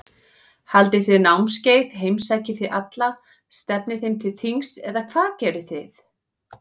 Haldið þið námskeið, heimsækið þið alla, stefnið þeim til þings eða hvað gerið þið?